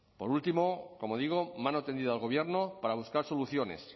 por último como digo mano tendida al gobierno para buscar soluciones